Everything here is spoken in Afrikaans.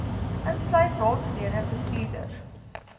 insluit raadslede bestuurders